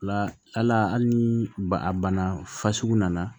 La hal'a hali ni ba a bana fasugu nana